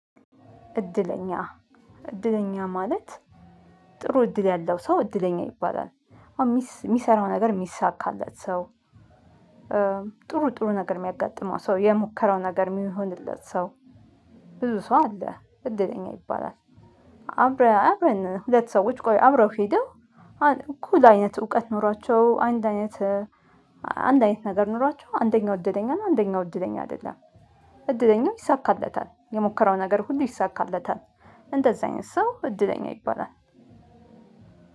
እድለኛ እድለኛ ማለት ጥሩ እድል ያለው ሰው እድለኛ ይባላል የሚሰራው ነገር የሚሳካለት ሰው። ጥሩ ጥሩ ነገር የሚያጋጥመው ሰው የሞከረው ነገር የሚሆንለት ሰው። ብዙ ሰው አለ እድለኛ ይባላል። አብረን አብረን ሁለት ሰዎች ቆይ አብረው ሄደው እኩል አይነት እውቀት ኖሯቸው አንድ አይነት። አንድ አይነት ነገር ኖሯቸው አንደኛው እድለኛ ነው አንደኛው እድለኛ አይደለም። እድለኛው ይሳካለታል የሞከረው ነገር ሁሉ ይሳካለታል። እንደዚህ አይነት ሰው እድለኛ ይባላል።